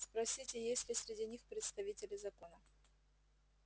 спросите есть ли среди них представители закона